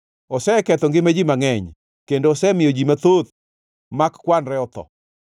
Oseketho ngima ji mangʼeny, kendo osemiyo ji mathoth mak kwanre otho.